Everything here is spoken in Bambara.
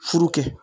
Furu kɛ